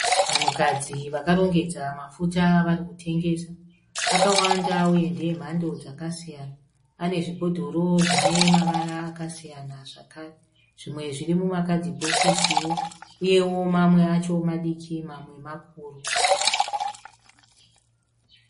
Vanhukadzi vakarongedza mafuta avari kutengesa. Akawandawo emhando dzakasiyana. Ane zvibhodhoro zvine mavara akasiyana zvakare. Zvimwe zviri mumakadhibhokisiwo. Uyewo Mamwe acho madiki mamwe makuru.